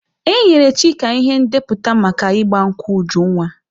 E nyere Chika ihe ndepụta maka ịgba nkwụ Ujunwa.